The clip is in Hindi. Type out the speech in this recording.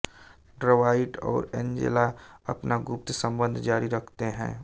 ड्वाइट और एंजेला अपना गुप्त संबंध जारी रखते हैं